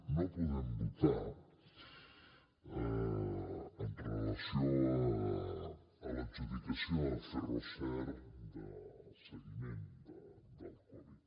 no podem votar amb relació a l’adjudicació ferroser del seguiment del covid